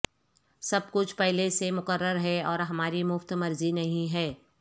سب کچھ پہلے سے مقرر ہے اور ہماری مفت مرضی نہیں ہے